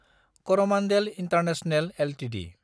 Coromandel international Ltd